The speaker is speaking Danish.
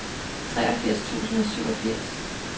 treogfirs tusind og syvogfirs